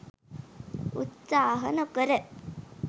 උත්සාහ නොකර.